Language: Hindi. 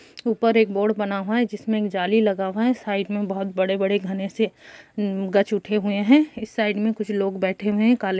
ऊपर एक बोर्ड बना हुआ है जिसमें एक जाली लगा हुआ है। साइड में बहुत बड़े-बड़े घने से उम् गछुठे हुए हैं। इस साइड में कुछ लोग बैठे हुए हैं। काले --